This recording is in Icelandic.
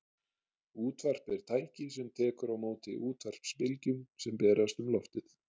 útvarp er tæki sem tekur á móti útvarpsbylgjum sem berast um loftið